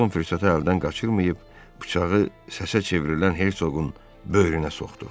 Felton fürsəti əldən qaçırmayıb bıçağı səsə çevrilən Hersoqun böyrünə soxdu.